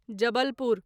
Jabalpur